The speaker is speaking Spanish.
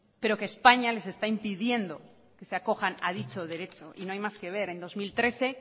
pero que españa les está impidiendo que se acojan a dicho derecho y no hay más que ver en dos mil trece